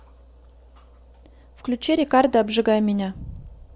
включи рекарда обжигай меня